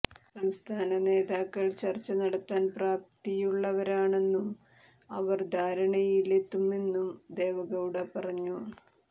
സംസ്ഥാന നേതാക്കൾ ചർച്ച നടത്താൻ പ്രാപ്തിയുള്ളവരാണെന്നും അവർ ധാരണയിലെത്തുമെന്നും ദേവഗൌഡ പറഞ്ഞു